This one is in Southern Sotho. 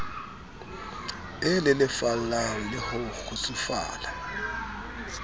e lelefalang le ho kgutsufala